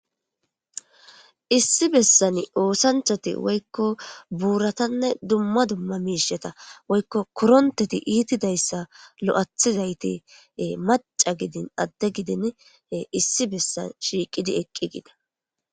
Issi bessan oosanchchatti woykko boorratanne dumma dumma miishshata woykko korontetti ittidayssazi i maca gidin adde gididi issi bessan shiqidi eqqigida